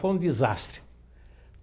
Foi um desastre.